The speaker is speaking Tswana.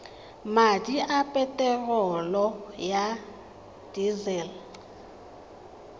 madi a peterolo ya disele